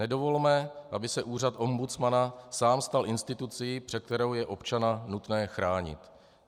Nedovolme, aby se úřad ombudsmana sám stal institucí, před kterou je občana nutné chránit.